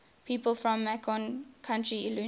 people from macon county illinois